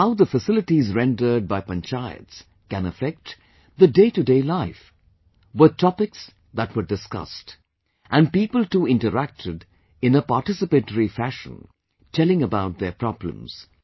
And how the facilities rendered by panchayats can affect the day to day life, were topics that were discussed and people too interacted in a participatory fashion telling about their problems